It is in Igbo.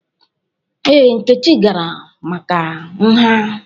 Ee, Nkechi gara maka nha.